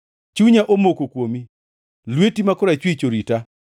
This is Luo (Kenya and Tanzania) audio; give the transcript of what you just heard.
Chunya omoko kuomi; lweti ma korachwich orita.